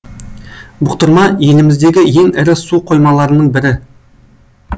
бұқтырма еліміздегі ең ірі су қоймаларының бірі